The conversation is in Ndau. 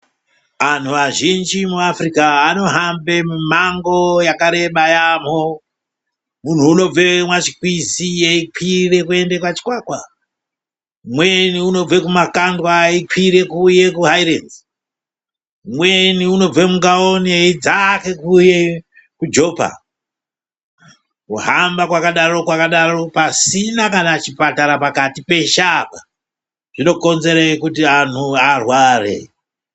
Anhu azhinji muAfrika anohambe mumango yakareba yaamho. Munhu unobve mwaChikwizi eikwire kuende kwaChikwakwa, umweni unobve kumakandwa eikwire kuuye kuHairenzi. Umweni unobve muNgaone eidzake kuuye kuJopa. Kuhamba kwakadaro-kwakadaro pasina kana chipatara pakati peshe apa, zvinokonzere kuti anhu arware.